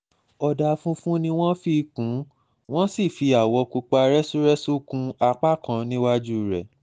ọ̀dà funfun ni wọ́n fi kùn un wọ́n sì fi àwọ̀ pupa rẹ́súrẹ́sú kún apá kan níwájú rẹ̀